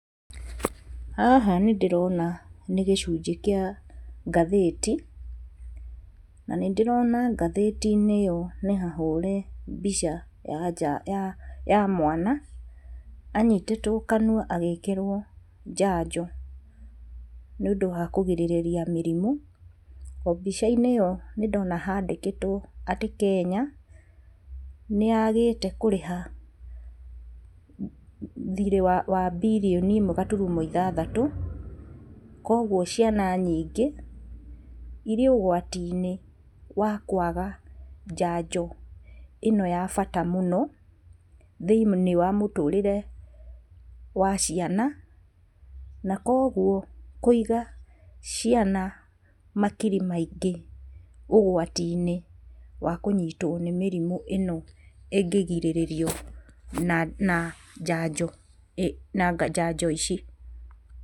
Haha nĩ ndĩrona nĩ gĩcunjĩ kĩa ngathĩti na nĩ ndĩrona ngathĩti-inĩ ĩyo nĩ hahũre mbica ya mwana anyitĩtwo kanua agĩkĩrwo njajo nĩ ũndũ wa kũgirĩrĩria mĩrimũ. O mbica-inĩ ĩyo nĩ ndona handĩkĩtwo atĩ Kenya nĩ yagĩte kũrĩha thirĩ wa mbirioni ĩmwe gaturumo ithathatũ koguo ciana nyingĩ irĩ ũgwati-inĩ wa kwaga njanjo ĩno ya bata mũno thĩinĩ wa mũtũrĩre wa ciana na koguo kwĩiga ciana makiri maingĩ ũgwati-inĩ wa kũnyitwo nĩ mĩrimũ ĩno ĩngĩgirĩrĩrio na njanjo ici